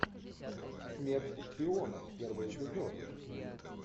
смерть шпионам первый эпизод